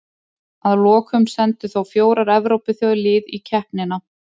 Að lokum sendu þó fjórar Evrópuþjóðir lið í keppnina.